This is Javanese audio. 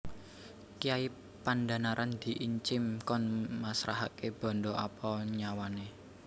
Kyai Pandhanaran diincim kon masrahaké bandha apa nyawané